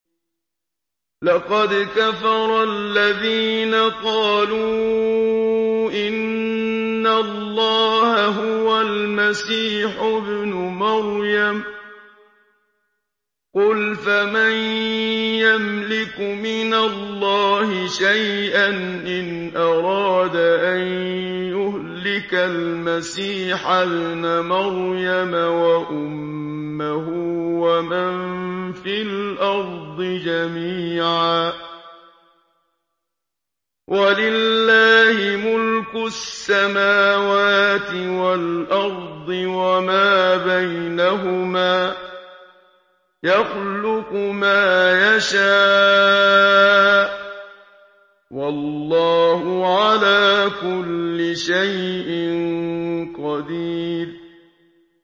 لَّقَدْ كَفَرَ الَّذِينَ قَالُوا إِنَّ اللَّهَ هُوَ الْمَسِيحُ ابْنُ مَرْيَمَ ۚ قُلْ فَمَن يَمْلِكُ مِنَ اللَّهِ شَيْئًا إِنْ أَرَادَ أَن يُهْلِكَ الْمَسِيحَ ابْنَ مَرْيَمَ وَأُمَّهُ وَمَن فِي الْأَرْضِ جَمِيعًا ۗ وَلِلَّهِ مُلْكُ السَّمَاوَاتِ وَالْأَرْضِ وَمَا بَيْنَهُمَا ۚ يَخْلُقُ مَا يَشَاءُ ۚ وَاللَّهُ عَلَىٰ كُلِّ شَيْءٍ قَدِيرٌ